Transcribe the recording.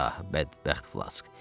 Ah, bədbəxt Flaşk.